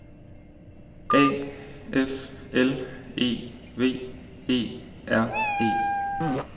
A F L E V E R E